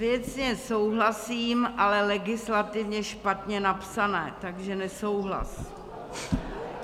Věcně souhlasím, ale legislativně špatně napsané, takže nesouhlas.